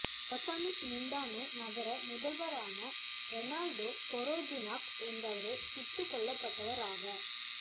Ozamiz Mindanao நகர முதல்வாரன Reynaldo Parojinog என்பவரே சுட்டுக் கொல்லப்பட்டவராவார்